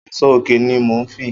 Áṣọ óké ni mó n fi